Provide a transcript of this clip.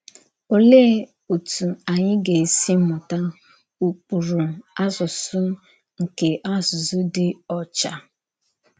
Òlee òtú ányị gà-èsí mụ̀tà “ụ́kpụrụ̀ àsụsụ” nke àsụsụ dì ọ́chà?